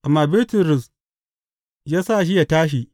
Amma Bitrus ya sa shi ya tashi.